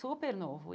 Super novo.